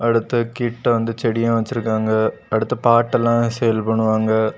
அடுத்து கிட்ட வந்து செடி வச்சிருக்காங்க அடுத்து பாட் எல்லாம் சேல் பண்ணுவாங்க.